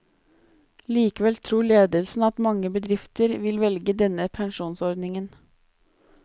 Likevel tror ledelsen at mange bedrifter vil velge denne pensjonsordingen.